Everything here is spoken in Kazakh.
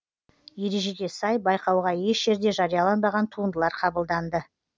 ережеге сай байқауға еш жерде жарияланбаған туындылар қабылданды